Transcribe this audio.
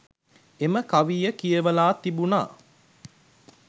එම කවිය කියවලා තිබුණා